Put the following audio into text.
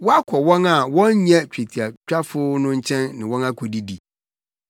“Woakɔ wɔn a wɔnnyɛ twetiatwafo no nkyɛn ne wɔn akodidi.”